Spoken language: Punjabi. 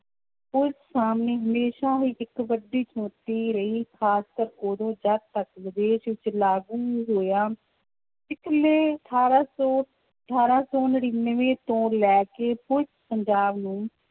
ਪੁਲਿਸ ਸਾਹਮਣੇ ਹਮੇਸ਼ਾ ਹੀ ਇੱਕ ਵੱਡੀ ਚੁਣੌਤੀ ਰਹੀ, ਖ਼ਾਸਕਰ ਉਦੋਂ ਜਦ ਤੱਕ ਵਿਦੇਸ਼ ਵਿੱਚ ਲਾਗੂ ਨਹੀਂ ਹੋਇਆ, ਇਸ ਨੇ ਅਠਾਰਾਂ ਸੌ ਅਠਾਰਾਂ ਸੌ ਨੜ੍ਹਿਨਵੇਂ ਤੋਂ ਲੈ ਕੇ ਪੁਲਿਸ ਪੰਜਾਬ ਨੂੰ